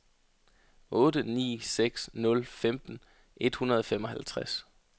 otte ni seks nul femten et hundrede og femoghalvtreds